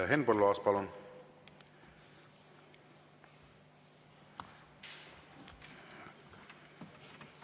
Henn Põlluaas, palun!